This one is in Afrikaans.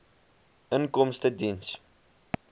inkomstediens